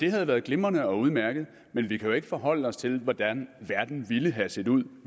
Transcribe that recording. det havde været glimrende og udmærket men vi kan jo ikke forholde os til hvordan verden ville have set ud